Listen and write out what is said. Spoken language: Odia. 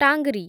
ଟାଙ୍ଗ୍‌ରୀ